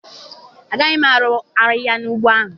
Agaghị m arụ ahịhịa n'ugbo ahụ.